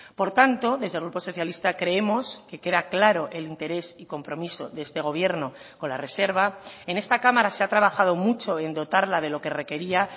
por tanto desde el grupo socialista creemos que queda claro el interés y compromiso de este gobierno con la reserva en esta cámara se ha trabajado mucho en dotarla de lo que requería